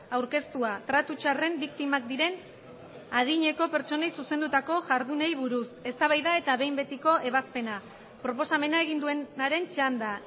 aurkeztua tratu txarren biktimak diren adineko pertsonei zuzendutako jardunei buruz eztabaida eta behin betiko ebazpena proposamena egin duenaren txanda